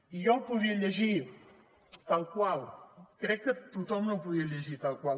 i jo el podria llegir tal qual crec que tothom no el podria llegir tal qual